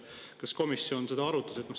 Kas komisjon seda arutas?